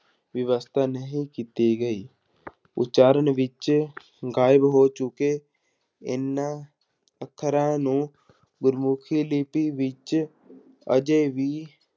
ਵਿਵਸਥਾ ਨਹੀਂ ਕੀਤੀ ਗਈ ਉਚਾਰਨ ਵਿੱਚ ਗਾਇਬ ਹੋ ਚੁੱਕੇ ਇਹਨਾਂ ਅੱਖਰਾਂ ਨੂੰ ਗੁਰਮੁਖੀ ਲਿਪੀ ਵਿੱਚ ਅਜੇ ਵੀ